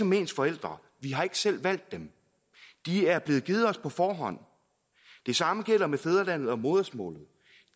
med ens forældre vi har ikke selv valgt dem de er blevet givet os på forhånd det samme gælder med fædrelandet og modersmålet